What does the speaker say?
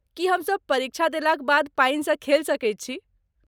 की हमसब परीक्षा देलाक बाद पानिसँ खेल सकैत छी?